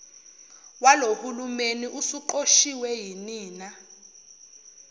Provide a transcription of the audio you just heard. walohulumeni usuqoshiwe yinina